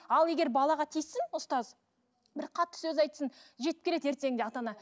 ал егер балаға тиіссін ұстаз бір қатты сөз айтсын жетіп келеді ертеңінде ата ана